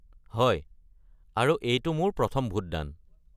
হয়, আৰু এইটো মোৰ প্ৰথম ভোটদান।